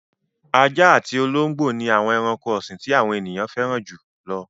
Ajá àti olóńgbò ni àwọn ẹranko ọ̀sìn tí àwọn ènìyàn fẹ́ràn jù lọ.